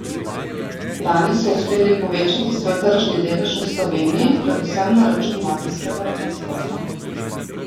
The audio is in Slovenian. Lani so uspeli povečati svoj tržni delež v Sloveniji, predvsem na račun ladijskega transporta.